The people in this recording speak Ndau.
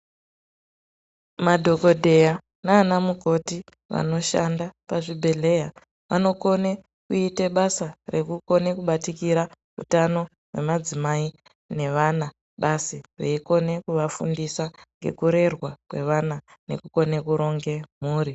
Madhokodheya naana mukoti vanoshanda pazvibhehleya vanokone kuite basa rekukone kubatikira utano hwemadzimai ne vana basi veikone kuvafundisa ngekurerwa kwevana nekukone kuronge mhuri.